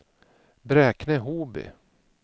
Bräkne-Hoby